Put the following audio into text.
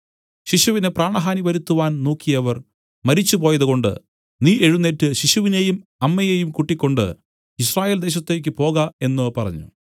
ശിശുവിന് പ്രാണഹാനി വരുത്തുവാൻ നോക്കിയവർ മരിച്ചുപോയതുകൊണ്ട് നീ എഴുന്നേറ്റ് ശിശുവിനെയും അമ്മയെയും കൂട്ടിക്കൊണ്ട് യിസ്രായേൽദേശത്തേക്കു പോക എന്നു പറഞ്ഞു